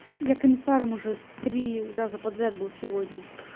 я комиссаром уже три раза подряд был сегодня